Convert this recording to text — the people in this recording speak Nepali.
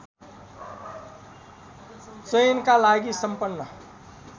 चयनका लागि सम्पन्न